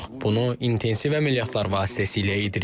Bunu intensiv əməliyyatlar vasitəsilə edirik.